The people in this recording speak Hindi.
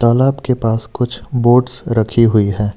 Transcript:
तालाब के पास कुछ बोट्स रखी हुई है।